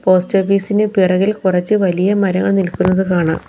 Post ഓഫീസിന് പിറകിൽ കുറച്ച് വലിയ മരങ്ങൾ നിൽക്കുന്നത് കാണാം.